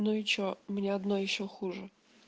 ну и что у меня одно ещё хуже